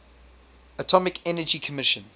atomic energy commission